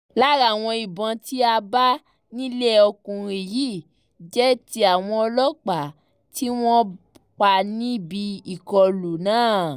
lára àwọn ìbọn tá a bá nílé ọkùnrin yìí jẹ́ ti àwọn ọlọ́pàá tí wọ́n pa níbi ìkọlù náà